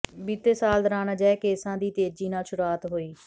ਬੀਤੇ ਸਾਲ ਦੌਰਾਨ ਅਜਿਹੇ ਕੇਸਾਂ ਦੀ ਤੇਜ਼ੀ ਨਾਲ ਸ਼ੁਰੂਆਤ ਹੋਈ